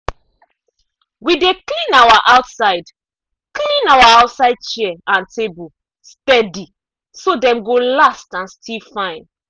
we dey clean our outside clean our outside chair and table steady so dem go last and still fine.